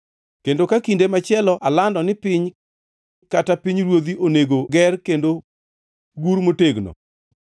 Kendo ka kinde machielo alando ni piny kata pinyruoth onego ger kendo gur motegno,